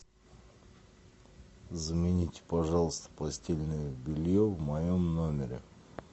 замените пожалуйста постельное белье в моем номере